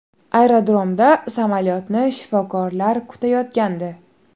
Aerodromda samolyotni shifokorlar kutayotgandi.